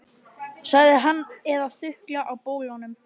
sagði hann, eða þukla á bólunum.